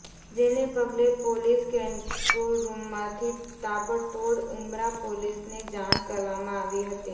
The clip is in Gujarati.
જેને પગલે પોલીસ કંટ્રોલ રૂમમાંથી તાબડતોડ ઉમરા પોલીસને જાણ કરવામાં આવી હતી